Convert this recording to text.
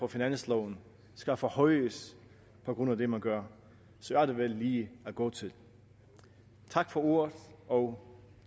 finansloven skal forhøjes på grund af det man gør er det vel lige at gå til tak for ordet og